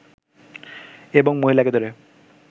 এবং মহিলাকে ধরে